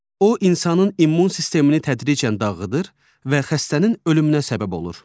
O insanın immun sistemini tədricən dağıdır və xəstənin ölümünə səbəb olur.